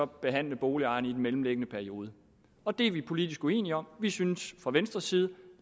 behandle boligejerne i den mellemliggende periode og det er vi politisk uenige om vi synes fra venstres side